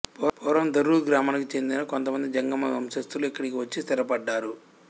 పూర్వం ధరూర్ గ్రామానికి చెందిన కొంతమంది జంగమ వంశస్థులు ఇక్కడికి వచ్చి స్థిరపడ్డారు